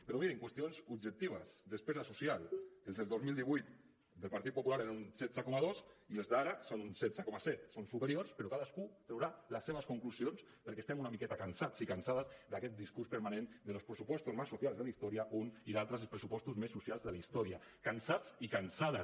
però mirin qüestions objectives despesa social els del dos mil divuit del partit popular eren un setze coma dos i els d’ara són un setze coma set són superiors però cadascú traurà les seves conclusions perquè estem una miqueta cansats i cansades d’aquest discurs permanent de los presupuestos más sociales de la historia un i l’altre els pressupostos més socials de la història cansats i cansades